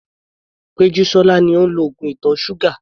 Pejusola ni ó ń lo oògùn ìtọ̀ ṣúgà.